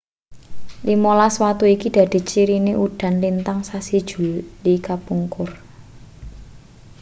limolas watu iki dadi cirine udan lintang sasi juli kapungkur